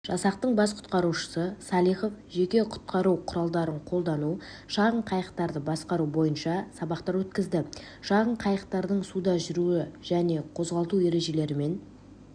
жасақтың бас құтқарушысы салихов жеке құтқару құралдарын қолдану шағын қайықтарды басқару бойынша сабақтар өткізді шағын қайықтардың суда жүруі мен қозғалту ережелерімен